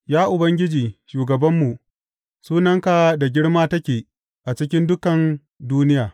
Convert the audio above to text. Ya Ubangiji, shugabanmu, sunanka da girma take a cikin dukan duniya!